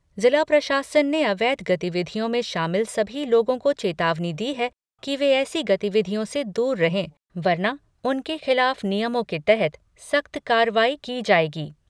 जिला प्रशासन ने अवैध गतिविधियों में शामिल सभी लोगों को चेतावनी दी है कि वे ऐसी गतिविधियों से दूर रहे, वरना उनके खिलाफ नियमों के तहत सख्त कार्रवाई की जाएगी।